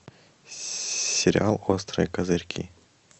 сериал острые козырьки